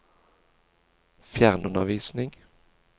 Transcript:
fjernundervisning